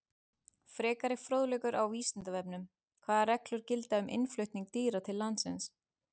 Frekari fróðleikur á Vísindavefnum: Hvaða reglur gilda um innflutning dýra til landsins?